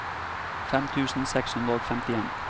fem tusen seks hundre og femtien